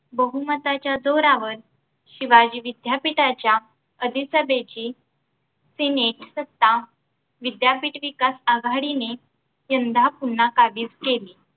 बहुमताच्या जोरावर शिवाजी विद्यापीठाच्या अधिसभेची senate सत्ता विद्यापीठ विकास आघाडीने यंदा पुन्हा काबीज केली